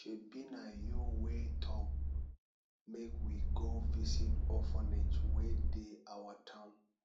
shebi na you wey talk make we go visit orphanage wey dey our town